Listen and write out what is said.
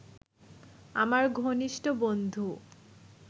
আমার ঘনিষ্ঠ বন্ধু